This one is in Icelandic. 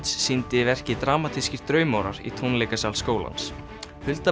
sýndi verkið dramatískir draumórar í tónleikasal skólans